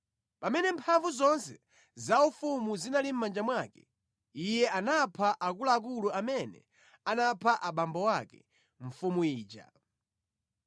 Pamene mphamvu zonse zaufumu zinali mʼmanja mwake, iye anapha akuluakulu amene anapha abambo ake, mfumu ija.